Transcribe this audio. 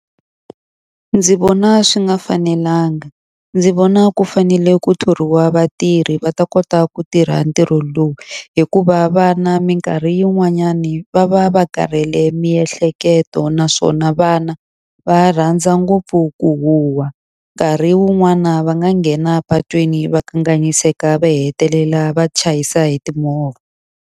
Ndzi vona swi nga fanelanga. Ndzi vona ku fanele ku thoriwa vatirhi va ta kota ku tirha ntirho lowu, hikuva vana minkarhi yin'wanyani va va va karhele miehleketo. Naswona vana va rhandza ngopfu ku huha, nkarhi wun'wana va nga nghena patwini va kanganyiseka va hetelela va chayisa hi timovha.